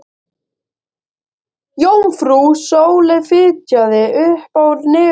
Jómfrú Sóley fitjaði upp á nefið.